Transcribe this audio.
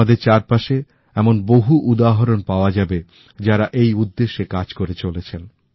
আমাদের চারপাশে এমন বহু উদাহরণ পাওয়া যাবে যারা এই উদ্দেশ্যে কাজ করে চলেছেন